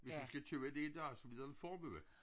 Hvis du skal købe det i dag så bliver det en formue